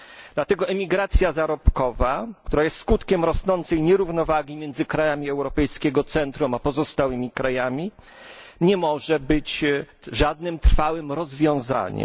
Dlatego emigracja zarobkowa, która jest skutkiem rosnącej nierównowagi między krajami europejskiego centrum a pozostałymi krajami, nie może być żadnym trwałym rozwiązaniem.